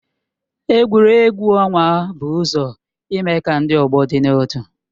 Egwuregwu ọnwa bụ ụzọ ime ka ndị ọgbọ dị n'otu